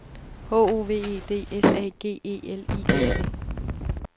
H O V E D S A G E L I G T